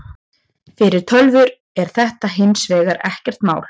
Fyrir tölvur er þetta hins vegar ekkert mál.